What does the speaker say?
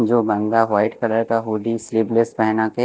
जो महंगा white colour का हूडी स्लीवलेस पहना के--